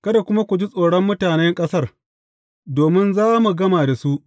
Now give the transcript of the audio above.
Kada kuma ku ji tsoron mutane ƙasar, domin za mu gama da su.